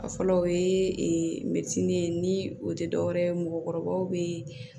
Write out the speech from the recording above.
A fɔlɔ o ye mɛtiri ye ni o tɛ dɔwɛrɛ ye mɔgɔkɔrɔbaw bɛ